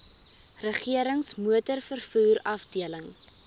regerings motorvervoer afdeling